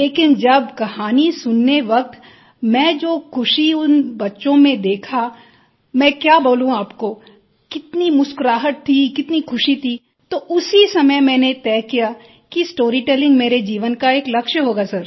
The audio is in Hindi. लेकिन जब कहानी सुनते वक़्त मैंने जो ख़ुशी उन बच्चों में देखी मैं क्या बोलू आपको कितनी मुस्कराहट थी कितनी ख़ुशी थी तो उसी समय मैंने तय किया कि स्टोरीटेलिंग मेरे जीवन का एक लक्ष्य होगा सर